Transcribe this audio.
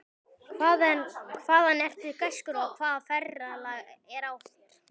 Hvaðan ertu, gæskur, og hvaða ferðalag er á þér?